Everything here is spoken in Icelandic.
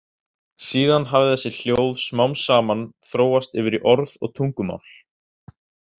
Síðan hafi þessi hljóð smám saman þróast yfir í orð og tungumál.